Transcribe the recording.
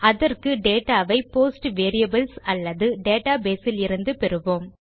அதற்கு டேட்டா வை post variables அல்லது டேட்டா பேஸ் இலிருந்து பெறுவோம்